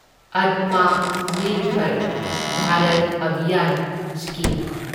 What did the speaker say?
Atma Nirbhar Bharat Abhiyan scheme